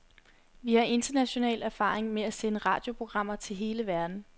Vi har international erfaring med at sende radioprogrammer til hele verden.